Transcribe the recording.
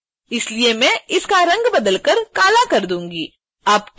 इसलिए मैं इसका रंग बदलकर काला कर दूंगी